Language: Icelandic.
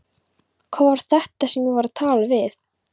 Hver var þetta sem ég var að tala við?